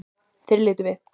Þeir litu við.